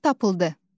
Ralf tapıldı.